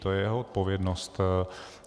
To je jeho odpovědnost.